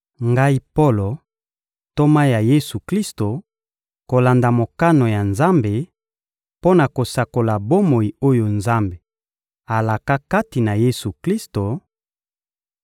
Ngai Polo, ntoma ya Yesu-Klisto, kolanda mokano ya Nzambe, mpo na kosakola bomoi oyo Nzambe alaka kati na Yesu-Klisto;